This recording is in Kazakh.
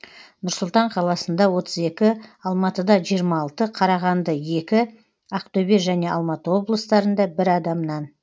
нұр сұлтан қаласында отыз екі алматыда жиырма алты қарағанды екі ақтөбе және алматы облыстарында бір адамнан